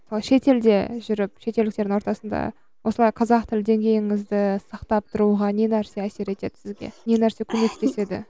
шетелде жүріп шетелдіктердің ортасында осылай қазақ тілді деңгейіңізді сақтап тұруға не нәрсе әсер етеді сізге не нәрсе көмектеседі